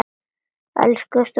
Elsku stúlkan mín